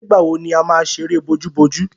Nígbà wo ni a má ṣeré bojúbojú?